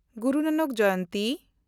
ᱜᱩᱨᱩ Nanak ᱡᱚᱭᱚᱱᱛᱤ